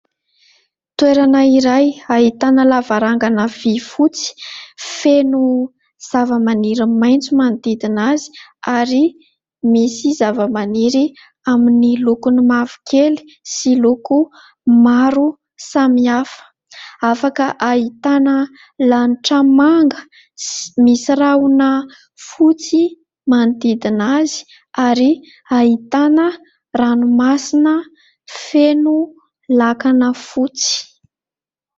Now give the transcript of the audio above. Toerana iray, ahitana lavarangana vy fotsy, feno zavamaniry maitso manodidina azy ary misy zavamaniry amin'ny lokony mavokely sy loko maro samy hafa ; afaka ahitana lanitra manga, misy rahona fotsy manodidina azy ary ahitana ranomasina feno lakana fotsy.